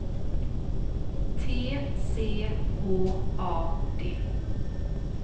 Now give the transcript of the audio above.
T C H A D